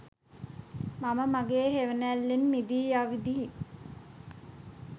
මම මගෙ හෙවනැල්ලෙන් මිදී අවුදින්